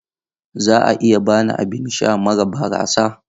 Za a iya ba ni abin sha mara barasa?